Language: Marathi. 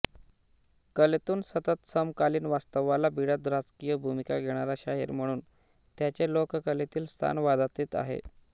कलेतून सतत समकालीन वास्तवाला भिडत राजकीय भूमिका घेणारा शाहीर म्हणून त्याचे लोककलेतील स्थान वादातीत आहे